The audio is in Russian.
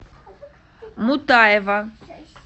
мутаева